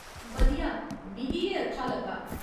बधिया! मिगी एह् अच्छा लग्गा।